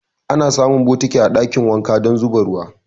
Ana samun bokiti a ɗakin wanka don zuba ruwa.